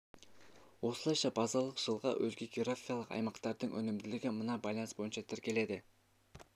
осылайша базалық жылға өзге географиялық аймақтардың өнімділігі мына байланыс бойынша тіркеледі